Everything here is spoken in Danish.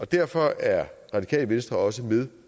derfor er radikale venstre også med